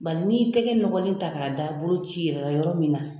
Bari n'i y'i tɛgɛ nɔgɔlen ta ka da boloci yɔrɔ min na.